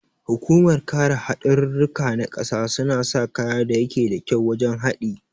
Hukumar kare hadarurruka na ƙasa suna sa kaya da yake da kyau wajan haɗi